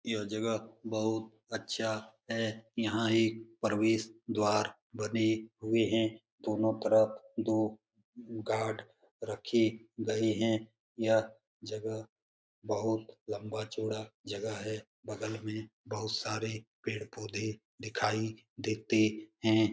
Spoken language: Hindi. यह जगह बहुत अच्छा है यहां एक प्रवेश द्वार बने हुए है दोनो तरफ दो गार्ड रखे गए हैं । यह जगह बहुत लंबा-चौड़ा जगह है बगल मे बहुत सारे पेड़-पौधे दिखाई देते है।